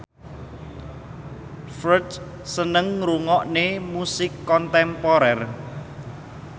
Ferdge seneng ngrungokne musik kontemporer